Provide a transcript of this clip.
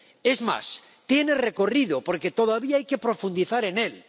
Es más, tiene recorrido, porque todavía hay que profundizar en él.